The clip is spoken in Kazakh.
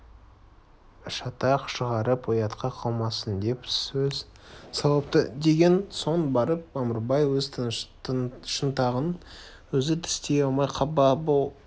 шатақ шығарып ұятқа қалмасын деп сөз салыпты деген соң барып мамырбай өз шынтағын өзі тістей алмай қапа боп